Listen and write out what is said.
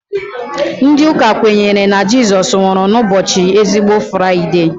Ndị Ụka kwenyere na Jizọs nwụrụ na ụbọchị ezigbo Fraide